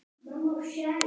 Hvar finn ég það?